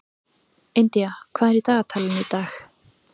Indía, hvað er í dagatalinu í dag?